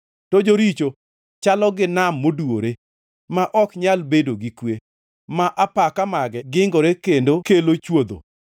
To joricho chalo gi nam moduwore, ma ok nyal bedo gi kwe, ma apaka mage gingore kendo kelo chwodho.